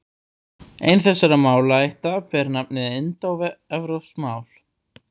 Ein þessara málaætta ber nafnið indóevrópsk mál.